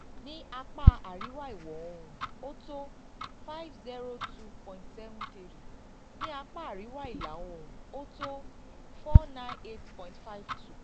ní apá àríwá ìwọ̀ oòrùn ó tó five zero two point seven three ní apá àríwá ìlà oòrùn ó tó four nine eight point five two